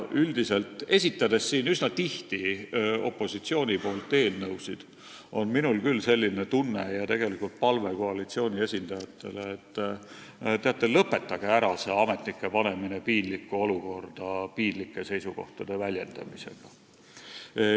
Ma esitan siin üsna tihti opositsiooni nimel eelnõusid ja mul on küll palve koalitsiooni esindajatele, et teate, lõpetage ära see ametnike panemine piinlikku olukorda, kus nad peavad piinlikke seisukohti väljendama.